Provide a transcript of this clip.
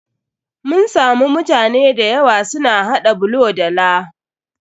Mun samu mutane da yawa su na haɗa bulo da laa.